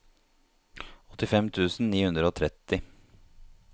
åttifem tusen ni hundre og tretti